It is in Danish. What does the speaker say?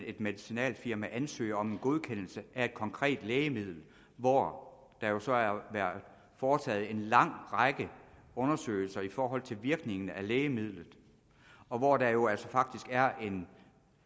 et medicinalfirma ansøger om en godkendelse af et konkret lægemiddel hvor der så er foretaget en lang række undersøgelser i forhold til virkningen af lægemidlet og hvor der jo altså faktisk er en